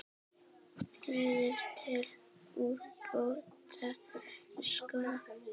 Leiðir til úrbóta skoðar.